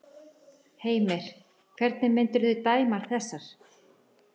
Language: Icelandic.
Heimir: En hvernig myndirðu dæma þessar?